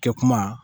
Kɛ kuma